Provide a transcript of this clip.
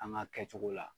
An ka kɛcogo la